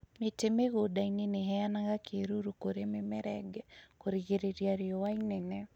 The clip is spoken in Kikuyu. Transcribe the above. Mĩtĩ mĩgũnda-inĩ nĩiheanaga kĩruru kũrĩ mĩmera ĩngĩ kũrigĩrĩria rĩũa inene